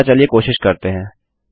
अतः चलिए कोशिश करते हैं